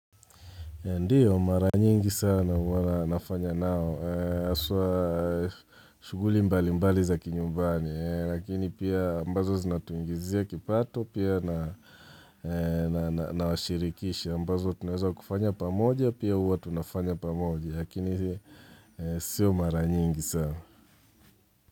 Ndiyo mara nyingi sana huwan na nafanya nao aswa shughuli mbali mbali za kinyumbani Lakini pia ambazo zinatuingizia kipato pia na washirikisha ambazo tunazawa kufanya pa moja pia huwa tunafanya pamoja lakini siyo mara nyingi sana.